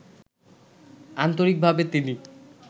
আন্তরিকভাবে তিনি